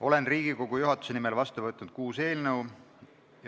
Olen Riigikogu juhatuse nimel vastu võtnud kuus eelnõu.